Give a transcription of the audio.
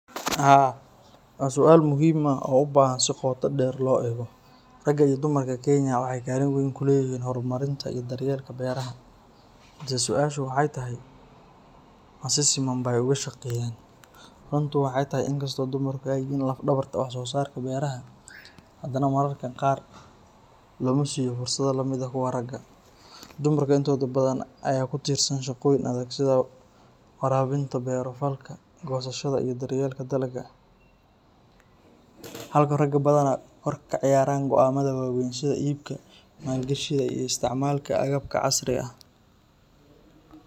Haa, waa su'aal muhiim ah oo u baahan in si qoto dheer loo eego. Raga iyo dumarka Kenya waxay kaalin weyn ku leeyihiin horumarinta iyo daryeelka beeraha, balse su'aashu waxay tahay ma si siman bay uga shaqeeyaan? Runtu waxay tahay in inkastoo dumarku ay yihiin laf-dhabarta wax soo saarka beeraha, haddana mararka qaar looma siiyo fursado la mid ah kuwa ragga. Dumarka intooda badan ayaa ku tiirsan shaqooyin adag sida waraabinta, beero falka, goosashada iyo daryeelka dalagga, halka raggu badanaa door ka ciyaaraan go’aamada waaweyn sida iibka, maalgashiga iyo isticmaalka agabka casriga ah.